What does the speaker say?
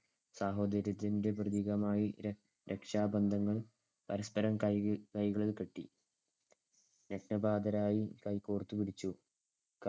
സഹോദര്യത്തിന്‍ടെ പ്രതീകമായി ര~ രക്ഷബന്ധങ്ങള്‍ പരസ്‌പരം കയ്യില്‍~ കൈകളിൽ കെട്ടി. കൈകോർത്തുപിടിച്ചു.